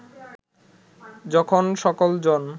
যখন সকল জন